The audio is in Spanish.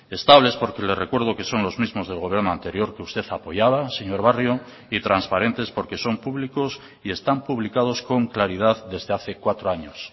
estables porque le recuerdo que son los mismos del gobierno anterior que usted apoyaba señor barrio y transparentes porque son públicos y están publicados con claridad desde hace cuatro años